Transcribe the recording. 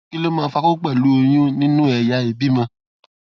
kí ló máa ń fa koko pelu oyun nínú ẹyà ìbímọ